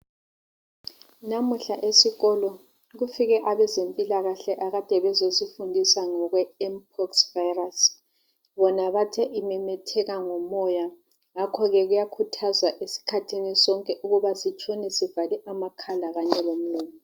Namuhla esikolo kufike abezempilakahle abakade bezesifundisa ngokwempox virus. Bona bathe imemetheka ngomoya. Ngakho ke kuyakhuthazwa esikhathini sonke, ukubsna, sitshone, sivale amakhala kanye lomlomo.